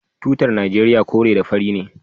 Tutar Najeriya kore ne da fari.